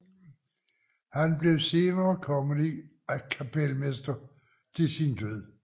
Han blev senere kongelig kapelmester til sin død